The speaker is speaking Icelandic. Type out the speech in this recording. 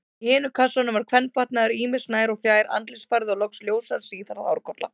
Í hinum kassanum var kvenfatnaður ýmis, nær- og fjær-, andlitsfarði og loks ljóshærð, síðhærð hárkolla.